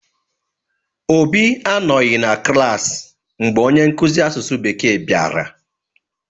Obi anọghị na klaasị mgbe onye nkuzi asụsụ bekee bịara.